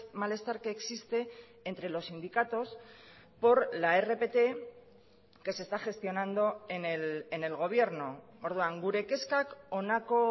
malestar que existe entre los sindicatos por la rpt que se está gestionando en el gobierno orduan gure kezkak honako